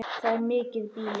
Það er mikið býli.